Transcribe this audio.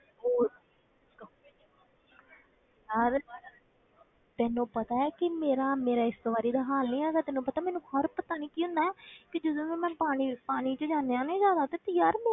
ਹੋਰ ਯਾਰ ਤੂੈਨੂੰ ਪਤਾ ਹੈ ਕਿ ਮੇਰਾ ਮੇਰਾ ਇਸ ਵਾਰੀ ਦਾ ਹਾਲ ਨੀ ਹੈਗਾ ਤੈਨੂੰ ਪਤਾ ਮੈਨੂੰ ਹਰ ਪਤਾ ਨੀ ਕੀ ਹੁੰਦਾ ਹੈ ਕਿ ਜਦੋਂ ਵੀ ਮੈਂ ਪਾਣੀ ਪਾਣੀ ਵਿੱਚ ਜਾਂਦੇ ਹਾਂ ਨਾ ਜ਼ਿਆਦਾ ਤੇ ਯਾਰ ਮੈਂ